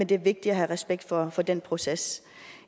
det er vigtigt at have respekt for for den proces